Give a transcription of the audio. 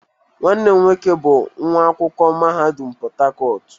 Nwanne m nwoke bu nwa akwukwo mahadum Portharcourt